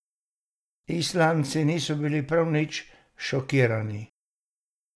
Islandci niso bili prav nič šokirani.